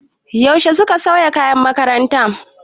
Yaushe suka sauya kayan makarantar?